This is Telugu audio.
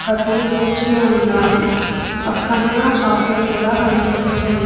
ఒకతను కూర్చుని ఉన్నాడు పక్కన షాప్ లో కూడా కనిపిస్తూ.